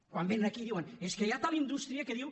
quan vénen aquí diuen és que hi ha tal indústria que diu